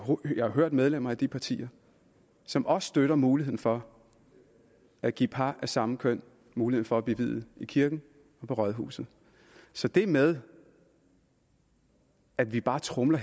hørt medlemmer fra de partier som også støtter muligheden for at give par af samme køn mulighed for at blive viet i kirken og på rådhuset så det med at vi bare tromler